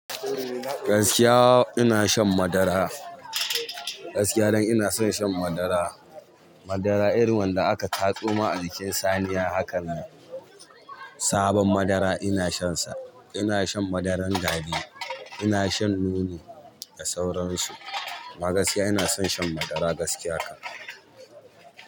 Gaskiya ina shan madara. Gaskiya dan ina son shan madara. Madara irin wanda aka tatso ma a jikin saniya hakanan. Sabon madara ina shansa. Ina shan madaran gari. Ina shan nono da sauransu. Amma gaskiya ina son shan madara gaskiya haka.